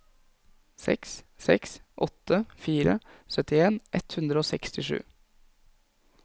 seks seks åtte fire syttien ett hundre og sekstisju